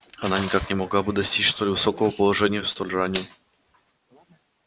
она никак не могла бы достичь столь высокого положения в столь раннюю